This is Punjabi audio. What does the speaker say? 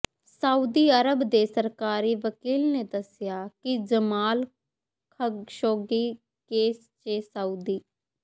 ਸਾਊਦੀ ਅਰਬ ਦੇ ਸਰਕਾਰੀ ਵਕੀਲ ਨੇ ਦਸਿਆ ਕਿ ਜਮਾਲ ਖਸ਼ੋਗੀ ਕੇਸ ਚ ਸਾਊਦੀ